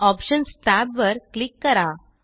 options टॅबवर click करा